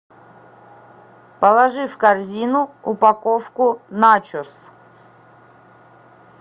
положи в корзину упаковку начос